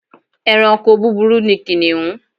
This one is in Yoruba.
Ẹranko búburú ni kìnìún.